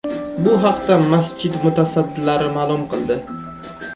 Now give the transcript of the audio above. Bu haqda masjid mutasaddilari ma’lum qildi .